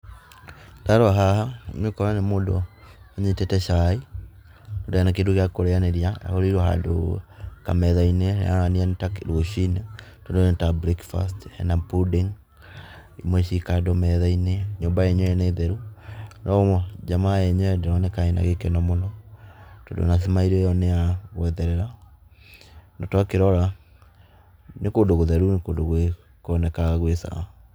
Ndarora haha, nĩũkũona nĩ mũndũ unyitĩte cai na ndarĩ na kĩndũ gĩa kũrĩanĩria. Ahũrĩirwo handũ kamethai-inĩ, na haronania nĩ ta rũciinĩ tondũ nĩ ta breakfast. Hena pudding, imwe ciĩ kando metha-inĩ. Nyũmba yenyewe nĩ theru, no jamaa yenyewe ndĩroneka ĩna gĩkeno mũno tondũ ona smile ĩyo nĩ ya gwetherera. Na twakĩrora nĩ kũndũ gũtheru, ni kũndũ kwonekaga gwĩ sawa.